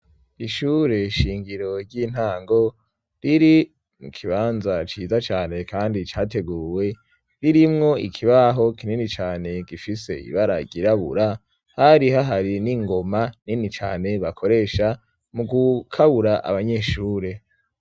Ishure shingiro ry'intango, riri mu kibanza ciza cane kandi categuwe, ririmwo ikibaho kinini cane gifise ibara ryirabura, hari hahari n'ingoma nini cane bakoresha mu gukabura abanyeshure.